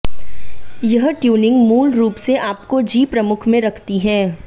यह ट्यूनिंग मूल रूप से आपको जी प्रमुख में रखती है